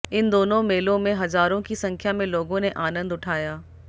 इन दोनों मेलों में हजारों की संख्या में लोगों ने आनंद उठाया